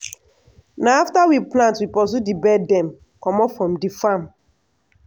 na after we plant we pursue di bird dem comot from di farm.